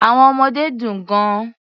Àwọn ọmọdé dùn gan-an.